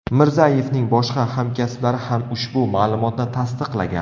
Mirzayevning boshqa hamkasblari ham ushbu ma’lumotni tasdiqlagan.